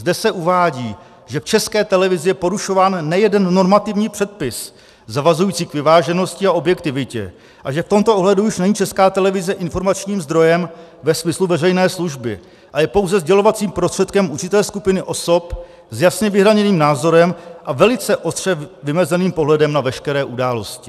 Zde se uvádí, že v České televizi je porušován nejeden normativní předpis zavazující k vyváženosti a objektivitě a že v tomto ohledu už není Česká televize informačním zdrojem ve smyslu veřejné služby a je pouze sdělovacím prostředkem určité skupiny osob s jasně vyhraněným názorem a velice ostře vymezeným pohledem na veškeré události.